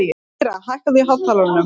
Lýra, hækkaðu í hátalaranum.